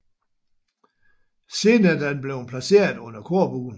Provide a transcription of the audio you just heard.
Siden er den blevet placeret under korbuen